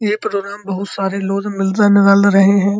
ये प्रोग्राम बहुत सारे लोज मिल जन रल रहे हैं।